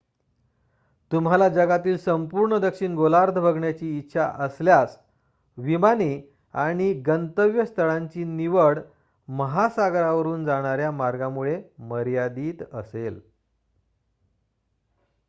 तुम्हाला जगातील संपूर्ण दक्षिण गोलार्ध बघण्याची इच्छा असल्यास विमाने आणि गंतव्यस्थळांची निवड महासागरावरून जाणाऱ्या मार्गांमुळे मर्यादीत असेल